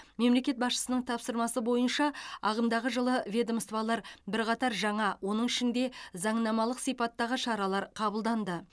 мемлекет басшысының тапсырмасы бойынша ағымдағы жылы ведомстволар бірқатар жаңа оның ішінде заңнамалық сипаттағы шаралар қабылданды